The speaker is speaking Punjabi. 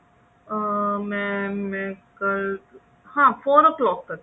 ਅਹ mam ਇੱਕ ਹਾਂ four o ਸਲੋਕ ਤੱਕ